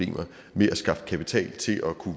vi